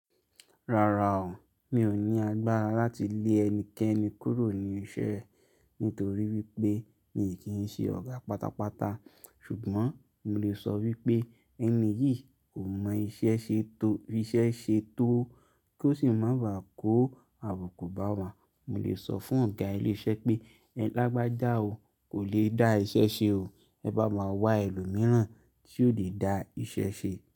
Rárá o, mi ò ní agbára láti lé ẹnikẹ́ni kúrò ní iṣẹ́ nítorí wípé mi kì í ṣe ọ̀gá pátápátá ṣùgbọ́n mo lè sọ wípé ẹni yìí kò mọ iṣẹ́ ṣe tó, fi iṣẹ́ ṣe tó kí ó sì má ba à kó àbùkù bá wa. Mo lè sọ fún ọ̀gá ilé iṣẹ́ pé ẹlágbájá ò lè dá iṣẹ́ ṣe o, ẹ bá máa wá ẹlòmíràn tí yóò lè dá iṣẹ́ ṣe.